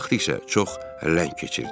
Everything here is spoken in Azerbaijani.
Vaxt isə çox ləng keçirdi.